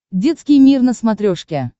детский мир на смотрешке